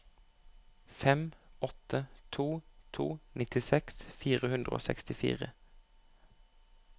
fem åtte to to nittiseks fire hundre og sekstifire